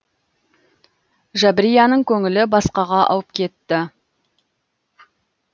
жабрияның көңілі басқаға ауып кетті